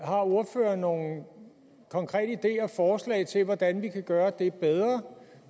har ordføreren nogle konkrete ideer og forslag til hvordan vi kan gøre det bedre